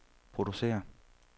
producerer